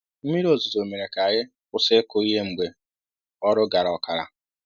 Mmiri ozizo mere ka anyị kwụsị ịkụ ihe mgbe ọrụ gara ọkara